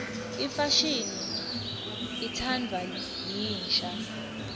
imfashini itsandvwa yinsha